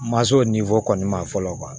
Masaw kɔni ma fɔlɔ